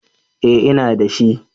Eh ina dashi